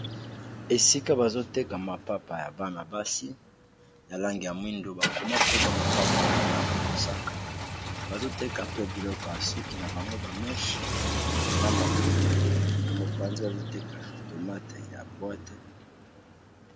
esika bazoteka mapapa ya bana-basi ya lange ya mwindu bakoma komba mapapa aona langa mosaka bazoteka pe biloko ya suki na bango bameshe na maputa na mopanzi bazoteka tomate ya boate